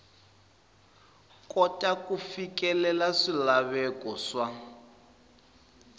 kota ku fikelela swilaveko swa